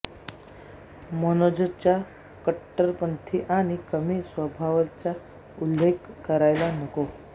मनोजच्या कट्टरपंथी आणि कमी स्वभावाचा उल्लेख करायला नको